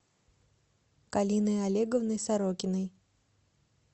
галиной олеговной сорокиной